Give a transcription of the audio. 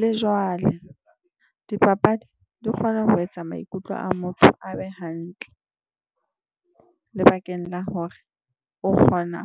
Le jwale dipapadi di kgona ho etsa maikutlo a motho a be hantle lebakeng la hore o kgona